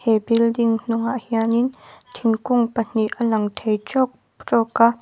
he building hnung ah hian in thingkung pahnih a lang thei trawk trawk a.